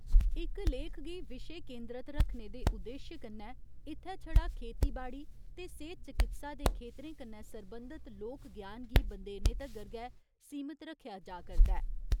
इक लेख गी विशे केंदरत रक्खने दे उद्देश्य कन्नै इत्थै छड़ा खेतीबाड़ी ते सेह्त चकित्सा दे खेतरें कन्नै सरबंधत लोक ज्ञान गी बंदेरेने तगर गै सीमत रक्खेआ जा करदा ऐ।